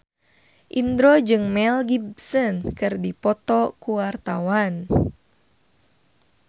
Indro jeung Mel Gibson keur dipoto ku wartawan